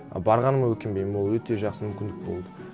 барғаныма өкінбеймін ол өте жақсы мүмкіндік болды